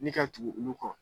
Ni ka tugu olu kɔ